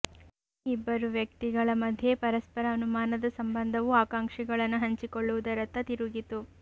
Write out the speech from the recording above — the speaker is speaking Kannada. ಈ ಇಬ್ಬರು ವ್ಯಕ್ತಿಗಳ ಮಧ್ಯ ಪರಸ್ಪರ ಅನುಮಾನದ ಸಂಬಂಧವು ಆಕಾಂಕ್ಷೆಗಳನ್ನು ಹಂಚಿಕೊಳ್ಳುವುದರತ್ತ ತಿರುಗಿತು